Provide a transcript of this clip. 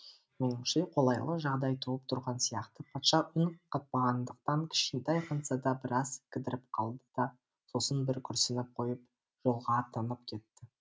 меніңше қолайлы жағдай туып тұрған сияқты патша үн қатпағандықтан кішкентай ханзада біраз кідіріп қалды да сосын бір күрсініп қойып жолға аттанып кетті